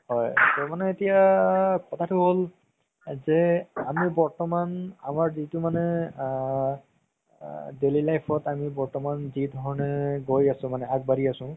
হয় মানে এতিয়া কথাতো হ'ল যে আমি বৰ্তমান যিতো মানে আ daily life ত আমি বৰ্তমান যি ধৰণে গৈ আছো মানে আগবাঢ়ি আছো